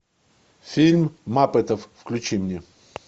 фильм маппетов включи мне